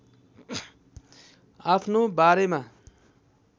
आफ्नो बारेमा